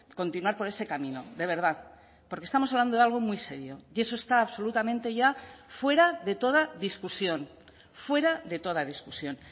continuar por ese camino de verdad porque estamos hablando de algo muy serio y eso está absolutamente ya fuera de toda discusión fuera de toda discusión